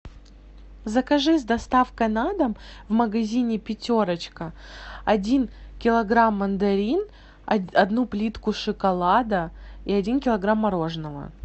закажи с доставкой на дом в магазине пятерочка один килограмм мандарин одну плитку шоколада и один килограмм мороженого